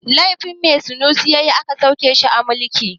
Laifin me sunusi ya yi aka sauke shi a mulki?